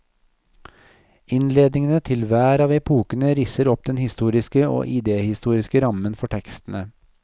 Innledningene til hver av epokene risser opp den historiske og idéhistoriske rammen for tekstene.